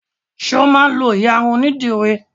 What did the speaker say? Ṣé o máa ń lọ ìyarun onídìrí?